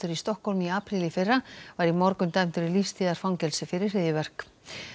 í Stokkhólmi í apríl í fyrra var í morgun dæmdur í lífstíðarfangelsi fyrir hryðjuverk